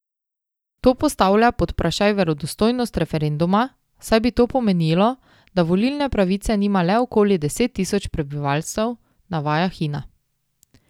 To postavlja pod vprašaj verodostojnost referenduma, saj bi to pomenilo, da volilne pravice nima le okoli deset tisoč prebivalcev, navaja Hina.